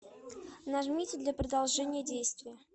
нажмите для продолжения действий